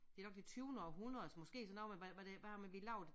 Det nok det tyvende århundredes måske sådan noget med hvad hvad det hvad har vi lavet